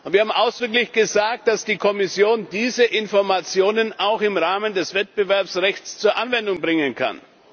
Wir haben ausdrücklich gesagt, dass die Kommission diese Informationen auch im Rahmen des Wettbewerbsrechts zur Anwendung bringen kann.